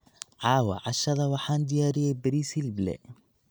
cawaa cashadha waxaan diyaariyey bariis hiliib lee.